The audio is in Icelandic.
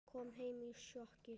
Kom heim í sjokki.